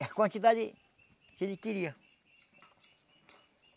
a quantidade que ele queria.